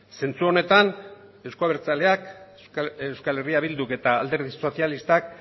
zentzu honetan euzko abertzaleak euskal herria bilduk eta alderdi sozialistak